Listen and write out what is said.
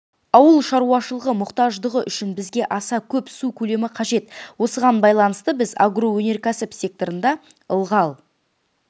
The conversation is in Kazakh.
ауыл шаруашылығы мұқтаждығы үшін бізге аса көп су көлемі қажет осыған байланысты біз агроөнеркәсіп секторында ылғал